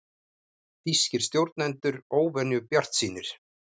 Þýskir stjórnendur óvenju bjartsýnir